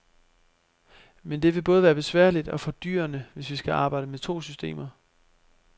Men det vil både være besværligt og fordyrende, hvis vi skal arbejde med to systemer.